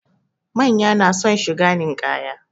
Manya na son shiga ninkaya